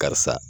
Karisa